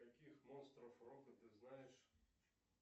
каких монстров рока ты знаешь